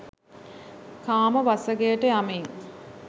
කාම වසඟයට යමින්